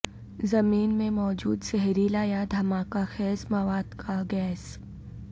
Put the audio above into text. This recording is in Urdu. زمین میں موجود زہریلا یا دھماکہ خیز مواد کا گیس